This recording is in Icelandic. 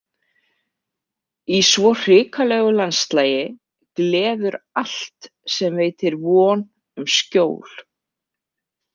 Í svo hrikalegu landslagi gleður allt sem veitir von um skjól.